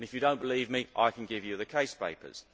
If you do not believe me, I can give you the case papers.